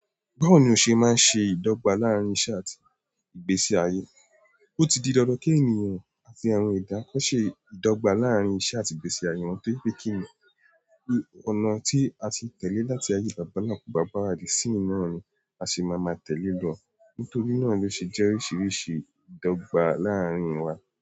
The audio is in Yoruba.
Báwo ni o ṣe máa ń ṣe ìdọ́gbà láàárín iṣẹ́ àti ìgbésí ayé? Ó ti di dandan kí ènìyàn àti àwọn ìdílé ṣe ìdọ́gba láàárín iṣẹ́ àti ìgbésí ayé wọn, torí pé ọ̀nà tí a ti ń tẹ̀lé láti ayé àwọn bàbá wa kò bá àkókò òní mu, a sì máa ń tẹ̀lé e lọ. Nítorí náà, ló ṣe jẹ́ oríṣiríṣi ìdọ́gba láàárín wa.